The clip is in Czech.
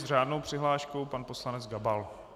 S řádnou přihláškou pan poslanec Gabal.